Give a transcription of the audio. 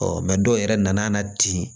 dɔw yɛrɛ nana di